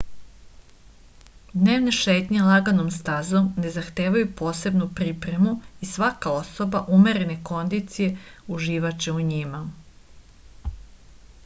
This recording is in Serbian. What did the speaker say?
dnevne šetnje laganom stazom ne zahtevaju posebnu pripremu i svaka osoba umerene kondicije uživaće u njima